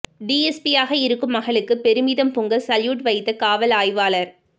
டிஎஸ்பியாக இருக்கும் மகளுக்கு பெருமிதம் பொங்க சல்யூட் வைத்த காவல் ஆய்வாளர்